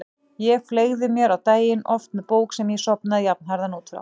Ég fleygði mér á daginn, oft með bók sem ég sofnaði jafnharðan út frá.